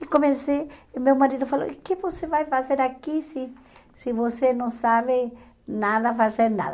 E comecei, meu marido falou, o que você vai fazer aqui se se você não sabe nada, fazer nada?